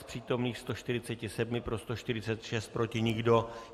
Z přítomných 147 pro 146, proti nikdo.